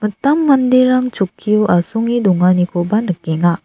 mitam manderang chokkio asonge donganikoba nikenga.